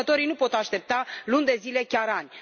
Producătorii nu pot aștepta luni de zile, chiar ani.